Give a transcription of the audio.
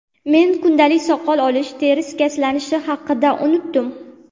Men kundalik soqol olish, teri shikastlanishi haqida unutdim.